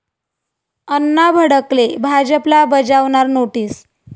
अण्णा भडकले, भाजपला बजावणार नोटीस